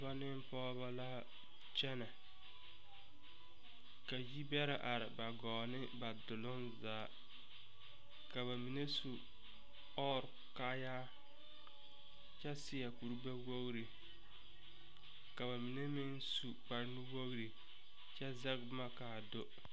Dɔɔbɔ ne pɔgɔba la kyɛne. Ka yir bɛra are ba gɔɔ ne ba duroŋ zaa. Ka ba mene su ɔre kaaya kyɛ seɛ kur gbɛwogre. Ka ba mene meŋ su kpar nu wogre kyɛ zeg boma kaa do